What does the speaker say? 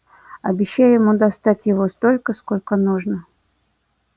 обещай ему достать его столько сколько нужно